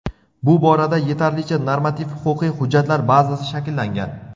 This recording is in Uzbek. Bu borada yetarlicha normativ-huquqiy hujjatlar bazasi shakllangan.